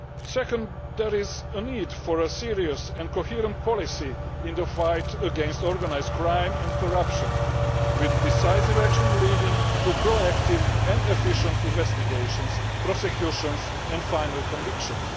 Second, there is a need for a serious and coherent policy in the fight against organised crime and corruption, with decisive action leading to proactive and efficient investigations, prosecutions and final convictions.